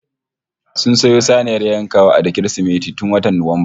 Sun sayo saniyar yankawa da Kirsimeti tun watan Nuwamba